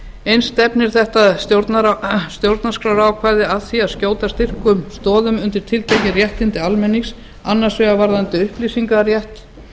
eins stefnir þetta stjórnarskrárákvæði að því að skjóta styrkum stoðum undir tiltekin réttindi almennings annars vegar varðandi upplýsingarétt